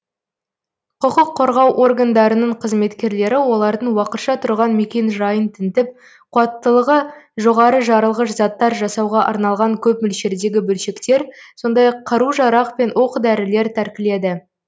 құқық қорғау органдарының қызметкерлері олардың уақытша тұрған мекенжайын тінтіп қуаттылығы жоғары жарылғыш заттар жасауға арналған көп мөлшердегі бөлшектер сондай ақ қару жарақ пен оқ дәрілер тәркіледі